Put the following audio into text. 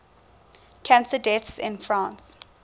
cancer deaths in france